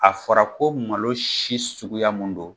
A fɔra ko malo si suguya mun don.